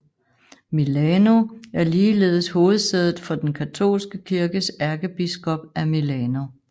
Milano er ligeledes hovedsædet for den katolske kirkes ærkebiskop af Milano